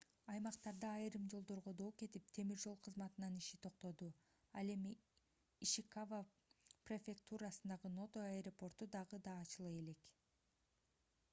аймактарда айрым жолдорго доо кетип темир жол кызматынын иши токтоду ал эми ишикава префектурасындагы ното аэропорту дагы эле ачыла элек